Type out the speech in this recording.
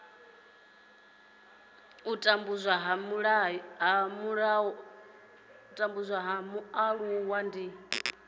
u tambudzwa ha mualuwa ndi